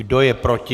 Kdo je proti?